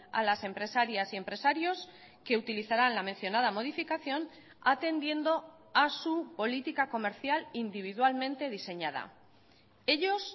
a las empresarias y empresarios que utilizarán la mencionada modificación atendiendo a su política comercial individualmente diseñada ellos